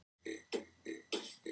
Við erum ólíkir flokkar.